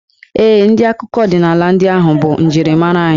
Ee, ndị akụkọ ọdịnaala ndị ahụ bụ njirimara anyị.